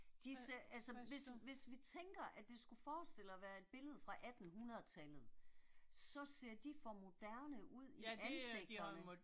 Disse altså, hvis hvis vi tænker at skulle forestille at være et billede 1800-tallet, så ser de for moderne ud i ansigterne